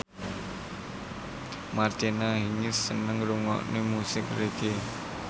Martina Hingis seneng ngrungokne musik reggae